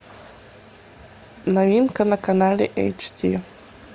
новинка на канале эйч ди